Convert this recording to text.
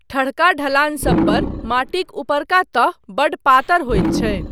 ठढ़का ढलानसबपर माटिक ऊपरका तह बड़ पातर होइत छै।